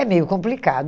É meio complicado.